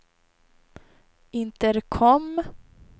intercom